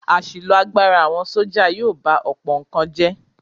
Àṣìlò agbára àwọn sọ́jà yóò ba ọ̀pọ̀ nǹkan jẹ́.